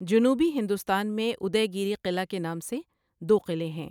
جنوبی ہندوستان میں ادے گیری قلعہ کے نام سے دو قلعے ہیں۔